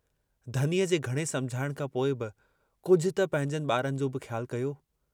धनीअ जे घणे समुझाइण खां पोइ बि कुझु त पंहिंजनि बारनि जो बि ख्यालु कयो?